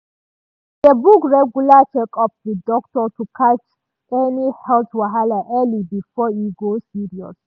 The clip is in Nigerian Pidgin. she dey book regular checkup with doctor to catch any health wahala early before e go serious.